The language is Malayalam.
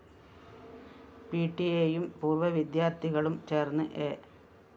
പിടിഎയും പൂര്‍വ്വ വിദ്യാര്‍ത്ഥികളും ചേര്‍ന്ന് എ